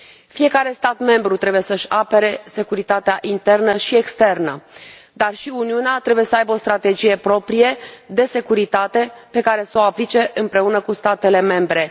Fiecare stat membru trebuie să și apere securitatea internă și externă, dar și Uniunea trebuie să aibă o strategie proprie de securitate pe care să o aplice împreună cu statele membre.